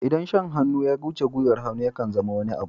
Idan shan hannu ya wuce gwiwar hannu, ya kan zama wani abu.